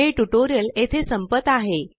हे ट्यूटोरियल येथे संपत आहे